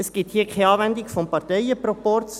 Hier gibt es keine Anwendung des Parteienproporzes.